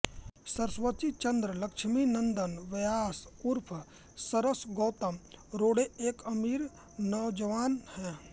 सरस्वतीचन्द्र लक्ष्मीनन्दन व्यास उर्फ सरस गौतम रोड़े एक अमीर नौजवान है